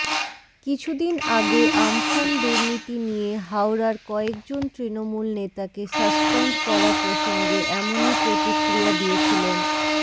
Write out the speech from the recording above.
কিছুদিন আগে আম্ফান দুর্নীতি নিয়ে হাওড়ার কয়েকজন তৃণমূল নেতাকে সাসপেন্ড করা প্রসঙ্গে এমনই প্রতিক্রিয়া দিয়েছিলেন